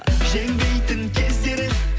жеңбейтін кездері